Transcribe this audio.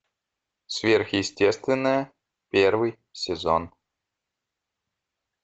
сверхъестественное первый сезон